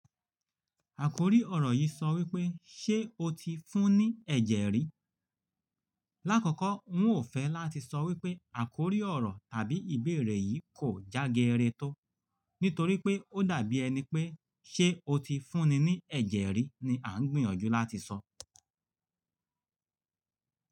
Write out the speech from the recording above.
Àkórí ọ̀rọ̀ yìí sọ wípé, “ṣé o ti fún ní ẹ̀jẹ̀ rí?” Láàkọ́kọ́, n ò fẹ́ láti sọ wípé àkórí ọ̀rọ̀ tàbí ìbéèrè yìí kò jágẹrẹ tó, nítorí pé ó dàbí ẹni pé “ṣé o ti fún ní ẹ̀jẹ̀ rí?” ni à ń gbìyànjú láti sọ.